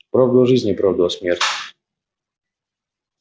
правду о жизни правду о смерти